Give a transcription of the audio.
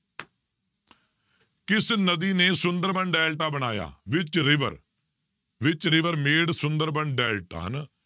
ਕਿਸ ਨਦੀਂ ਨੇ ਸੁੰਦਰਬਨ ਡੈਲਟਾ ਬਣਾਇਆ which river, which river made Sundarban delta ਹਨਾ